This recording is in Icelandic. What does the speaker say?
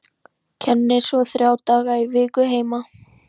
Kennir svo þrjá daga í viku heima.